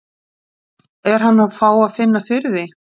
Er hann að fá að finna fyrir því?